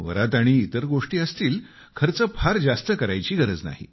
वरात आणि इतर गोष्टी असतील खर्च फार जास्त करायची गरज नाही